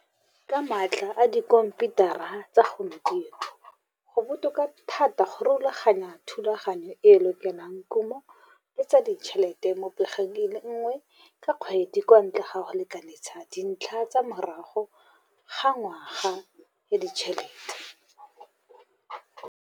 Ka maatla a dikhomputara tsa segompieno go botoka thata go rulaganya thulaganyo e e lokelang kumo le tsa ditšhelete mo pegong e le nngwe ka kgwedi kwa ntle ga go lekalekanathsa dintlha tse morago ga ngwaga ya ditšhelete.